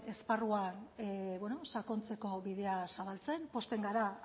esparrua sakontzeko bidea zabaltzen pozten gara